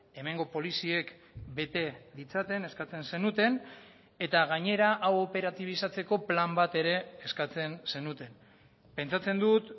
hemengo poliziek bete ditzaten eskatzen zenuten eta gainera hau operatibizatzeko plan bat ere eskatzen zenuten pentsatzen dut